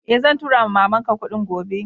Eh, zan tura ma'mama n ka kudin gobe.